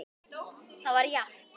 Það var jafnt.